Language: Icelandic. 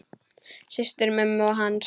Systur mömmu og hans.